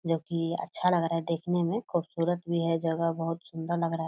जब की अच्छा लग रहा है देखने में खुबसूरत भी है जगह बोहोत सुन्दर लग रहा है।